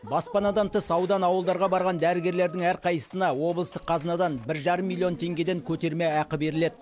баспанадан тыс аудан ауылдарға барған дәрігерлердің әрқайсысына облыстық қазынадан бір жарым миллион тенгеден көтерме ақы беріледі